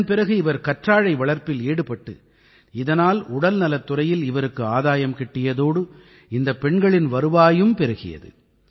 இதன் பிறகு இவர் கற்றாழை வளர்ப்பில் ஈடுபட்டு இதனால் உடல்நலத் துறையில் இவருக்கு ஆதாயம் கிட்டியதோடு இந்தப் பெண்களின் வருவாயும் பெருகியது